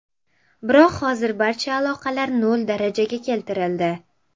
Biroq hozir barcha aloqalar nol darajaga keltirildi.